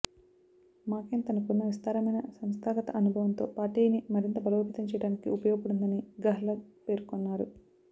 మాకెన్ తనకున్న విస్తారమైన సంస్థాగత అనుభవంతో పార్టీని మరింత బలోపేతం చేయడానికి ఉపయోగపడుతుందని గెహ్లట్ పేర్కొన్నారు